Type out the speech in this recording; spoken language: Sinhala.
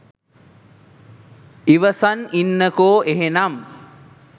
ඉවසන් ඉන්නකො එහෙනම්